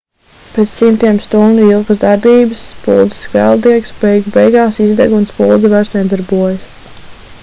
pēc simtiem stundu ilgas darbības spuldzes kvēldiegs beigu beigās izdeg un spuldze vairs nedarbojas